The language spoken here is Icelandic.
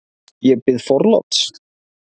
Ég bið forláts!